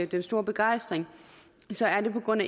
den store begejstring så er det på grund